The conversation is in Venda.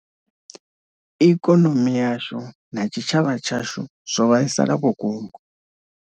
Ikonomi yashu na tshitshavha tshashu zwo vhaisala vhukuma.